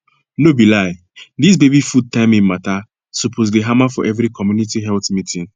no be lie dis baby food timing matter suppose dey hammer for every community health meeting